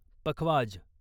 पखवाज